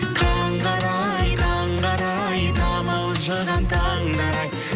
таңғы арай таңғы арай тамылжыған таңдар ай